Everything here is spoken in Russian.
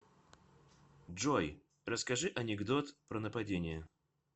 джой расскажи анекдот про нападение